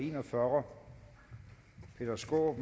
en og fyrre peter skaarup